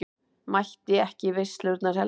Mætti ekki í veislurnar heldur.